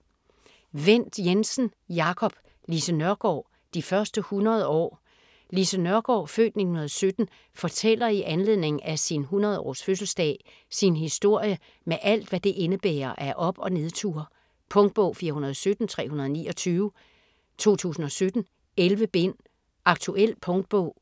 Wendt Jensen, Jacob: Lise Nørgaard: de første 100 år Lise Nørgaard (f. 1917) fortæller i anledning af sin 100-års fødseldag sin historie med alt, hvad det indebærer af op- og nedture. Punktbog 417329 2017. 11 bind. Aktuel punktbog